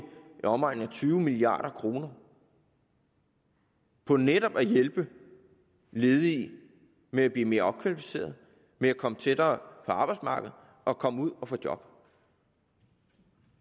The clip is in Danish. omegnen af tyve milliard kroner på netop at hjælpe ledige med at blive mere opkvalificerede med at komme tættere på arbejdsmarkedet og komme ud og få job